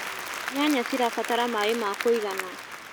Nyanya cirabatara maĩ ma kũigana.